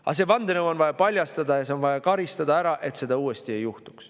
Aga see vandenõu on vaja paljastada ja on vaja karistada, et seda uuesti ei juhtuks.